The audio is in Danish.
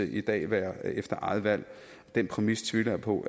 i dag være efter eget valg den præmis tvivler jeg på